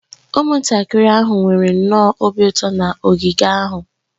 Ụmụntakịrị ahụ nwere nnọọ obi ụtọ na ogige ahụ